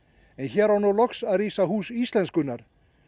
en hér á nú loks að rísa Hús íslenskunnar